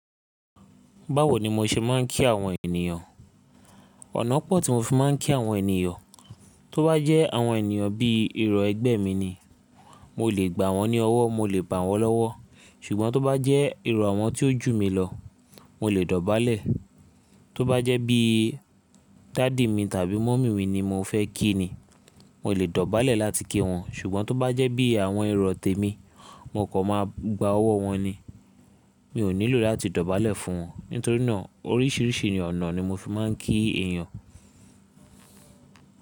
Báwo ni mo ṣe máà ń kí àwọn ènìyàn? Ọ̀nà pọ̀ tí mo fi máà ń kí àwọn ènìyàn. Tó bá jẹ́ àwọn ènìyàn bí iru ẹgbẹ́ mi ni, mo lè gbà wọ́n ní ọwọ́, mo lè bà wọ́n lọ́wọ́. Ṣùgbọ́n tó bá jẹ́ iru àwọn tí ó jù mí lọ, mo lè dọ̀bálẹ̀. Tó bá jẹ́ bí dádì mi tàbí mọ̀mí mi ni mo fẹ́ kí ni, mo lè dọ̀bálẹ̀ láti kí wọn. Ṣùgbọ́n tó bá jẹ́ bí àwọn irọ̀ tèmi, mo kọ̀ má gba ọwọ́ wọn ni, mi ò nílò láti dọ̀bálẹ̀ fún wọn. Nítorínà oríṣiríṣi ọ̀nà ni mo fi máà ń kí èyàn.